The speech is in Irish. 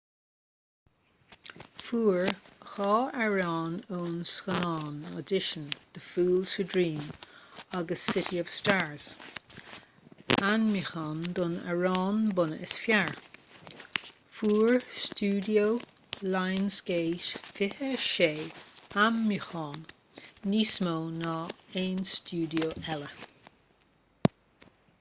fuair ​​dhá amhrán ón scannán audition the fools who dream agus city of stars ainmniúcháin don amhrán bunaidh is fearr. fuair ​​stiúideo lionsgate 26 ainmniúchán — níos mó ná aon stiúideo eile